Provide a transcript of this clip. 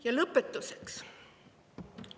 Ja lõpetuseks.